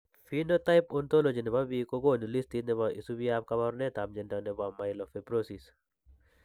Phenotype Ontology ne po biik ko konu listiit ne isubiap kaabarunetap mnyando ne po Myelofibrosis.